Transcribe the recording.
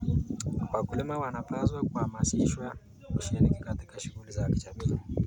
Wakulima wanapaswa kuhamasishwa kushiriki katika shughuli za kijamii.